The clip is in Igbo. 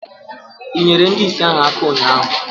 i nyeere ndị ìsì ahụ aka ụnyahụ?